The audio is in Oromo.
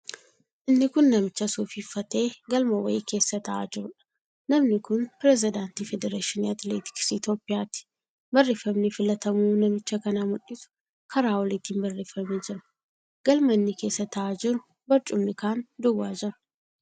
Inni kun namicha suufii uffatee galma wayii keessa taa'aa jiruudha. Namni kun pirezidaantii Federeeshinii Atileetiksii Itiyoophiyaati. Barreeffamni filatamuu namicha kanaa mul'isu karaa oliitiin barreeffamee jira. Galma inni keessa taa'aa jiru barcumni kaan duwwaa jira.